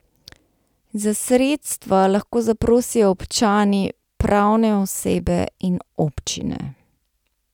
Za sredstva lahko zaprosijo občani, pravne osebe in občine.